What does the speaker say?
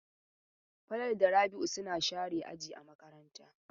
Falalu da Rabi'u suna share aji a makaranta.